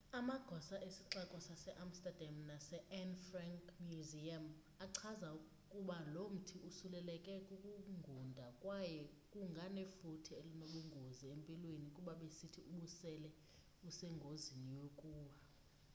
amagosa esixeko sase amsterdam nase anne frank museum achaza ukuba lomthi usuleleke kukungunda kwaye kunganefuthe elinobungozi empilweni kuba besithi ubusele usengozini yokuwa